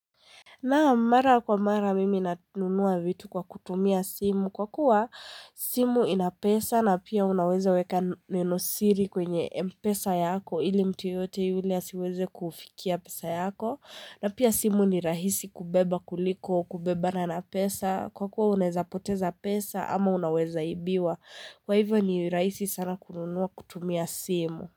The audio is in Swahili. Naam mara kwa mara mimi nanunua vitu kwa kutumia simu kwa kuwa simu ina pesa na pia unaweza weka nenosiri kwenye mpesa yako ili mtu yeyote yule asiweze kufikia pesa yako na pia simu ni rahisi kubeba kuliko kubebana na pesa kwa kuwa unaeza poteza pesa ama unaweza ibiwa kwa hivyo ni rahisi sana kununua kutumia simu.